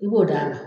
I b'o d'a ma